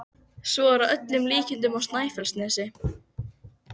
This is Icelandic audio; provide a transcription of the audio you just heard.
Svo er að öllum líkindum á Snæfellsnesi.